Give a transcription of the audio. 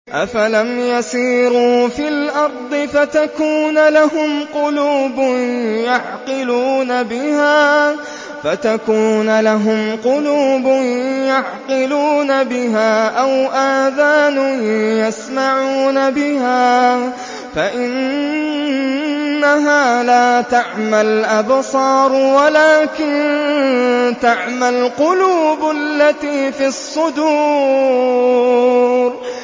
أَفَلَمْ يَسِيرُوا فِي الْأَرْضِ فَتَكُونَ لَهُمْ قُلُوبٌ يَعْقِلُونَ بِهَا أَوْ آذَانٌ يَسْمَعُونَ بِهَا ۖ فَإِنَّهَا لَا تَعْمَى الْأَبْصَارُ وَلَٰكِن تَعْمَى الْقُلُوبُ الَّتِي فِي الصُّدُورِ